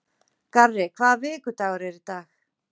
Garri, hvaða vikudagur er í dag?